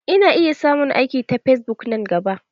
Ina iya samun aiki ta fesbuk nan gaba.